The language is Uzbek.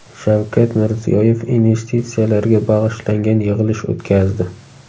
Shavkat Mirziyoyev investitsiyalarga bag‘ishlangan yig‘ilish o‘tkazdi.